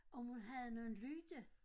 Om hun havde nogen lyde